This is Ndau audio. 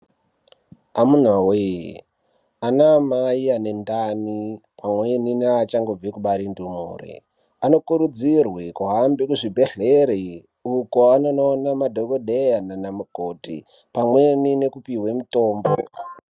Amunawe anamai ane ndani pamweni neachangobve kubare ndumure anokurudzirwe kuhambe muzvibhedhlera uko anonoona madhokodheya nana mukoti pamweni nekupihwe mitombo.